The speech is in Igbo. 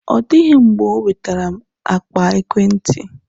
Ọ dịghị mgbe ọ nwetara m akpa ekwentị.